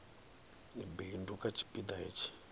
bindu kha tshipi ḓa hetshi